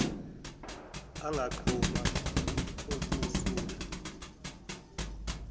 anganquma uku sula